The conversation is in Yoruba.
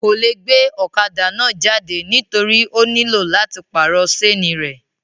Kò le gbe ọ̀kadà náà jáde nítorí ó nílò láti pàrọ̀ sénì rẹ̀